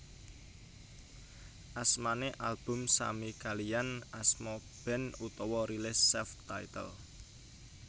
Asmane album sami kaliyan asma band utawa rilis self titled